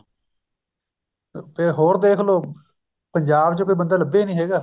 ਅਹ ਤੇ ਹੋਰ ਦੇਖਲੋ ਪੰਜਾਬ ਚ ਕੋਈ ਬੰਦਾ ਲੱਭਿਆ ਨੀ ਹੈਗਾ